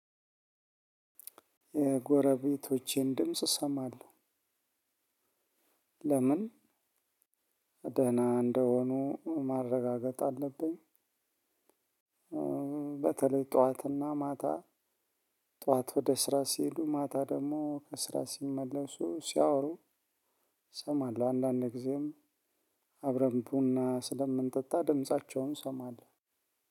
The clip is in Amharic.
የጎረቤቶቼን ድምጽ እሰማለሁ ለምን ደህና እንደሆኑ ማረጋገጥ አለብኝ በተለይ ጠዋትና ማታ ጠዋት ወደ ስራ ስሄዱ ማታ ደግሞ ከስራ ሲመለሱ ስያወሩ እሰማለሁ አንዳንድ ጊዜም አብረን ቡና ስለምንጠጣ ድምፃቸውን እሰማለሁ።